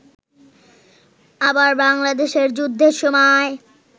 আবার বাংলাদেশের যুদ্ধের সময়